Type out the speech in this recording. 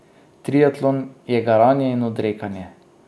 Triatlon je garanje in odrekanje.